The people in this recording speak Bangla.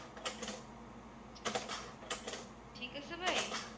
ঠিক আছে ভাই